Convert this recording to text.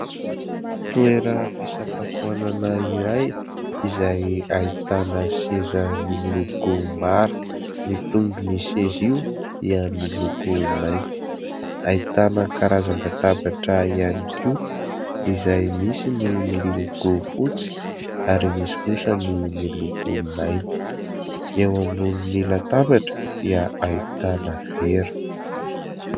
Toeram-pisakafoanana iray izay ahitana seza miloko mara. Ny tongon'io seza io dia miloko mainty. Ahitana karazan-databatra ihany koa izay misy ny miloko fotsy ary misy kosa ny miloko mainty. Eo ambonin'ny latabatra dia ahitana vera.